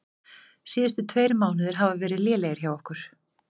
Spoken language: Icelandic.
Síðustu tveir mánuðir hafa verið lélegir hjá okkur.